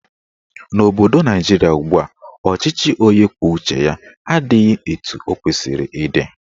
N'obodo Naijiria ugbua, ọchịchị onye kwuo uche ya adịghị etu ọ kwesịrị ịdị.